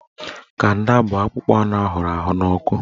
Kanda bụ akpụkpọ anụ ahụrụ n'ọkụ